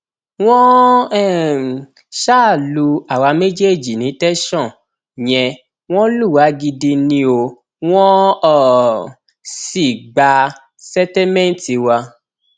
wọn um ṣáà lu àwa méjèèjì ní tẹsán yẹn wọn lù wá gidi ni o wọn um sì gbà sẹtẹmẹǹtì wa